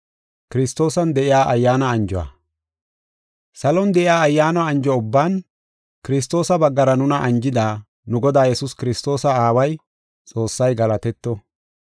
Salon de7iya ayyaana anjo ubban Kiristoosa baggara nuna anjida, nu Godaa Yesuus Kiristoosa Aaway, Xoossay galatetto.